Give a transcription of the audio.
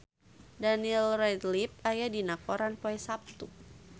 Daniel Radcliffe aya dina koran poe Saptu